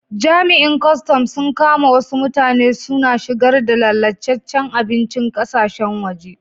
Jami'in custom sun kama wassu mutane suna shigar da lallacecen abincin kasashen waje.